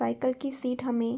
cycle की seat हमें --